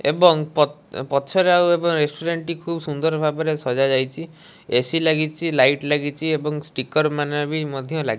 ଏବଂ ପଥ ପଛରେ ଆଉ ଏବ ରେଷ୍ଟୁରାଣ୍ଟ ଟି ଖୁବ୍ ସୁନ୍ଦର ଭାବରେ ସଜା ଯାଇଚି। ଏ_ସି ଲାଗିଚି ଲାଇଟ୍ ଲାଗିଚି ଏବଂ ଷ୍ଟିକର ମାନେ ବି ମଧ୍ୟ ଲାଗିଚି।